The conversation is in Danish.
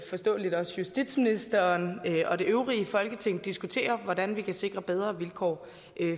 forståeligt også justitsministeren og det øvrige folketing diskutere hvordan vi kan sikre bedre vilkår